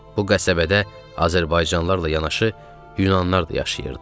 Bu qəsəbədə azərbaycanlılarla yanaşı, yunanlar da yaşayırdı.